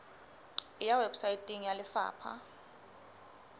e ya weposaeteng ya lefapha